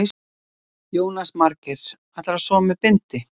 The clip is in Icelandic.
Jónas Margeir: Ætlarðu að sofa með bindi?